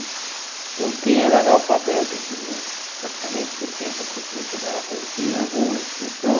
Então, quem era analfabeto tinha praticamente sessenta por cento de analfabe, tinha alguma instrução.